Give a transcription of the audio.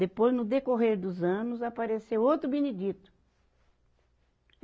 Depois, no decorrer dos anos, apareceu outro Benedito.